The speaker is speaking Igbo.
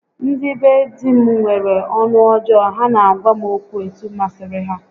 Ndị be di m nwere ọnụ ọjọọ, ha na-agwa m okwu etu masịrị ha